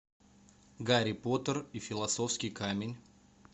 гарри поттер и философский камень